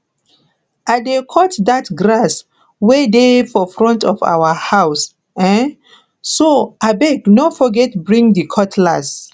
i dey cut dat grass wey dey for front of our house um so abeg no forget bring di cutlass